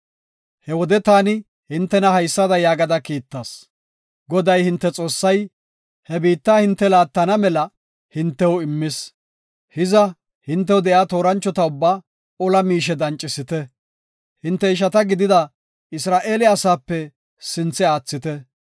He wode taani hintena haysada yaagada kiittas. “Goday hinte Xoossay he biitta hinte laattana mela hintew immis. Hiza hintew de7iya tooranchota ubbaa ola miishe dancisidi, hinte ishata gidida Isra7eele asaape sinthe aathite.